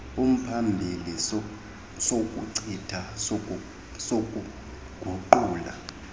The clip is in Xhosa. umphambili sokuchitha sokuguqula